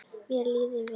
Mér leið vel.